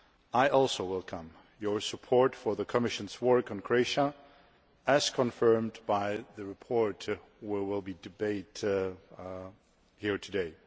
I also welcome your support for the Commission's work on Croatia, as confirmed by the report we will be debating here today.